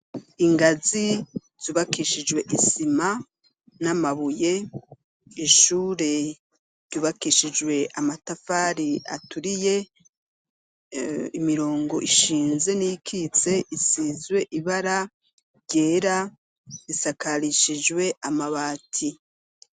Ingazi, zubakishijwe isima, n'amabuye, ishure ryubakishijwe amatafari aturiye, imirongo ishinze n'iyikitse, isizwe ibara ryera, isakarishijwe amabati.